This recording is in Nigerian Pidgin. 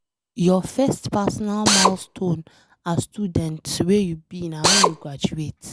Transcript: Your first personal milestone as student wey you be na wen you graduate.